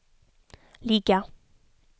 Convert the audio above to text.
ligga